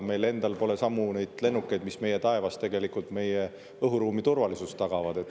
Meil endal pole neid lennukeid, mis meie taevas meie õhuruumi turvalisust tagavad.